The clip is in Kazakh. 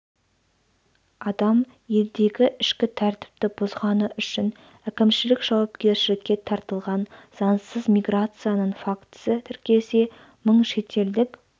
адам елдегі ішкі тәртіпті бұзғаны үшін әкімшілік жауапкершілікке тартылған заңсыз миграцияның фактісі тіркелсе мың шетелдік